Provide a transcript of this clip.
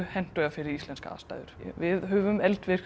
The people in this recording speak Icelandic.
hentugir fyrir íslenskar aðstæður við höfum